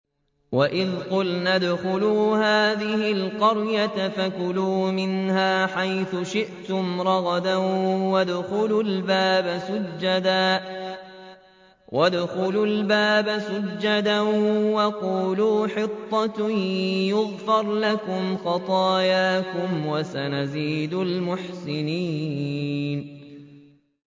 وَإِذْ قُلْنَا ادْخُلُوا هَٰذِهِ الْقَرْيَةَ فَكُلُوا مِنْهَا حَيْثُ شِئْتُمْ رَغَدًا وَادْخُلُوا الْبَابَ سُجَّدًا وَقُولُوا حِطَّةٌ نَّغْفِرْ لَكُمْ خَطَايَاكُمْ ۚ وَسَنَزِيدُ الْمُحْسِنِينَ